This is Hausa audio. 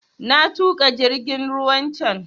Na tuƙa jingin ruwan can